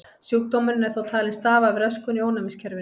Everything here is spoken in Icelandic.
Sjúkdómurinn er þó talinn stafa af röskun í ónæmiskerfinu.